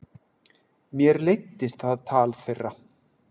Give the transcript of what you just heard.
Mér leiddist það tal þeirra.